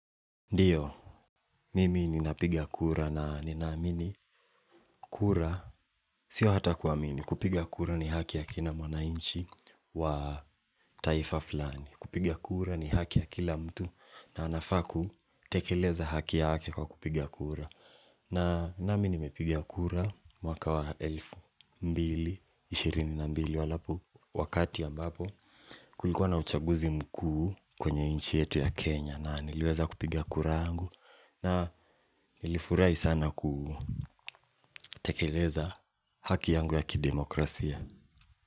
Ndiyo, mimi ninapiga kura na ninaamini kura, sio hata kuamini, kupiga kura ni haki ya kila mwananchi wa taifa fulani. Kupiga kura ni haki ya kila mtu na anafaa kutekeleza haki yake kwa kupiga kura. Na nami nimepiga kura mwaka wa elfu mbili, ishirini na mbili wakati ambapo kulikuwa na uchaguzi mkuu kwenye nchi yetu ya Kenya na niliweza kupiga kura angu. Na nilifurai sana kutekeleza haki yangu ya kidemokrasia.